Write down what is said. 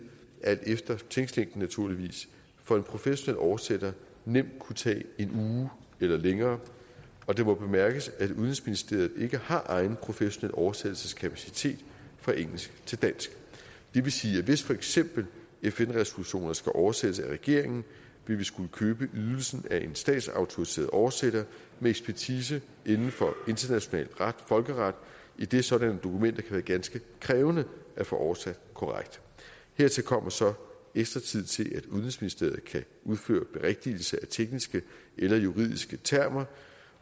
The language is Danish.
alt efter tekstlængden naturligvis for en professionel oversætter nemt kunne tage en uge eller længere og det må bemærkes at udenrigsministeriet ikke har egen professionel oversættelseskapacitet fra engelsk til dansk det vil sige at hvis for eksempel fn resolutioner skal oversættes af regeringen ville vi skulle købe ydelsen af en statsautoriseret oversætter med ekspertise inden for international folkeret idet sådanne dokumenter kan være ganske krævende at få oversat korrekt hertil kommer så ekstra tid til at udenrigsministeriet kan udføre berigtigelse af tekniske eller juridiske termer